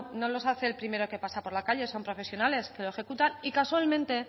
no los hace el primero que pasa por la calle son profesionales que lo ejecutan y casualmente